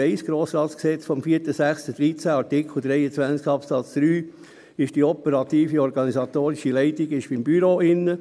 Ich weiss, dass gemäss dem Gesetz über den Grossen Rat vom 04.06.2013 (Grossratsgesetz, GRG), Artikel 23 Absatz 3, die operative Leitung beim Büro liegt.